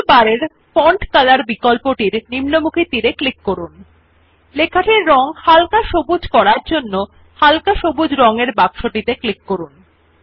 toolbar এর font colour বিকল্পটির নিম্নমুখী তীর এ ক্লিক করুন এবং লেখাটির রঙ হালকা সবুজ করার জন্য হালকা সবুজ রং এর বাক্সটিতে ক্লিক করুন